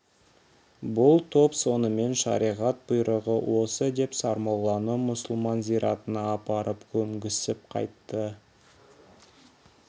бұл топ сонымен шариғат бұйрығы осы деп сармолланы мұсылман зиратына апарып көмісіп қайтты